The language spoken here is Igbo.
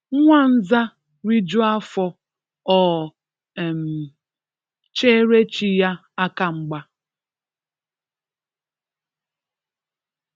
Nwa nza rijuo afọ o um chere chi ya aka mgba